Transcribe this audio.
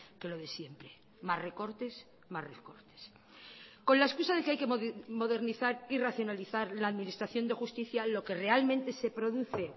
que lo de siempre más recortes más recortes con la excusa de que hay que modernizar y racionalizar la administración de justicia lo que realmente se produce